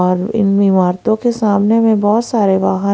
और इन ईमारतों के सामने में बहुत सारे वाहन--